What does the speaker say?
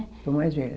Sou mais velha.